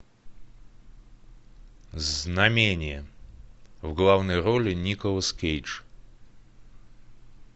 знамение в главной роли николас кейдж